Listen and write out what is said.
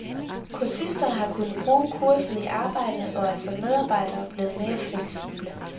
Kursisterne har kunnet bruge kurset i arbejdet og er som medarbejdere blevet mere fleksible.